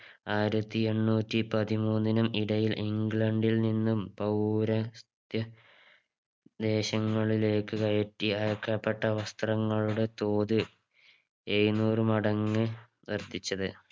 ആയിരത്തി എണ്ണൂറ്റി പതിമൂന്നിനും ഇടയിൽ ഇംഗ്ലണ്ടിൽ നിന്നും പൗര ത്യ ദേശങ്ങളിലേക്ക് കയറ്റി അയക്കപ്പെട്ട വസ്ത്രങ്ങളുടെ തോത് എഴുന്നൂറ് മടങ്ങ് വർധിച്ചത്